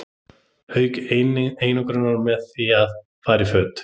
Auka einangrun með því að fara í föt.